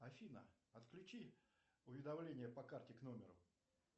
афина отключи уведомления по карте к номеру